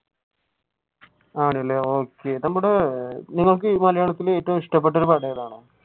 ആണല്ലേ okay ഏറ്റവും ഇഷ്ടപെട്ട പടം ഏതാണ്?